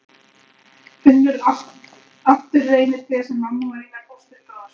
Finnur aftur reynitrén sem mamma og Einar fóstri gróðursettu.